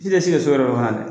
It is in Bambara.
Si tɛ si ka so yɔrɔ dɔn